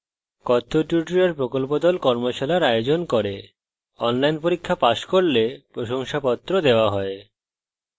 কথ্য tutorial প্রকল্প the কথ্য tutorial ব্যবহার করে কর্মশালার আয়োজন করে online পরীক্ষা pass করলে প্রশংসাপত্র দেওয়া হয়